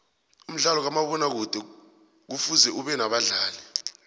umdlalo kamabona kude kufuze ubenabadlali